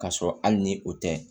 K'a sɔrɔ hali ni o tɛ